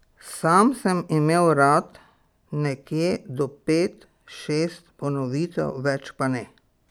Sam sem imel rad nekje do pet, šest ponovitev, več pa ne.